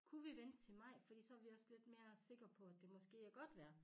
Kunne vi vente til maj fordi så vi også lidt mere sikker på at det måske er godt vejr